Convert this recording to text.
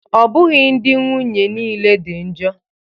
Ọ bụghị ndị nwunye niile dị njọ